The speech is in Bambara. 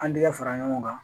An tɛgɛ fara ɲɔgɔn kan